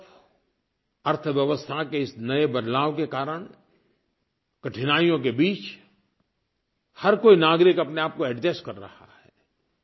एक तरफ़ अर्थव्यवस्था के इस नये बदलाव के कारण कठिनाइयों के बीच हर कोई नागरिक अपने आपको एडजस्ट कर रहा है